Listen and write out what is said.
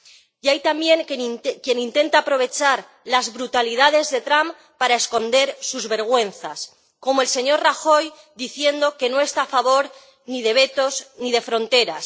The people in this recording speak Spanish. Y hay también quien intenta aprovechar las brutalidades de Trump para esconder sus vergüenzas, como el señor Rajoy, diciendo que no está a favor ni de vetos ni de fronteras.